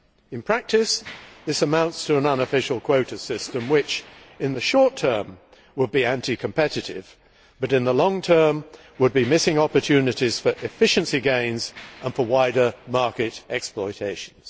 In practice, that would amount to an unofficial quota system which, in the short term, would be anti competitive and, in the long term, would mean missing opportunities for efficiency gains and wider market exploitation.